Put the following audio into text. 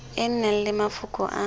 e nang le mafoko a